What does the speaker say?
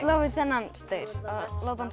þennan staur láta hann